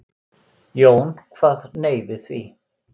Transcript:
Jón kvað nei við því.